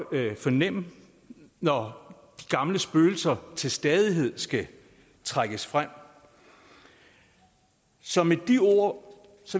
fornemme når de gamle spøgelser til stadighed skal trækkes frem så med de ord